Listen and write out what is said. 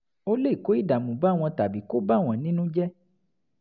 ó lè kó ìdààmú bá wọn tàbí kó bà wọ́n nínú jẹ́